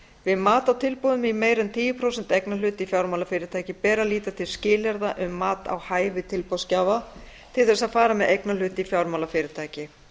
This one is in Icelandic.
við mat á tilboðum í meira en tíu prósent eignarhlut í fjármálafyrirtæki ber að líta til skilyrða um mat á hæfi tilboðsgjafa til þess að fara með eignarhlut í fjármálafyrirtæki